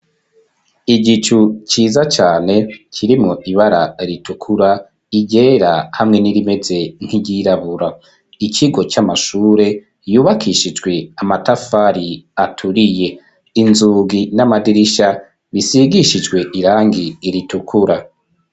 Igicu ciza cane kiri mu ibara ritukura iryera hamwe n'irimeze nk'iryirabura .Ikigo c'amashure yubakishijwe amatafari aturiye inzugi n'amadirisha bisigishijwe irangi iritukura.